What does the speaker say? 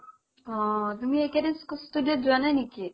অ তুমি এইকেইদিন যোৱা নাই নেকি?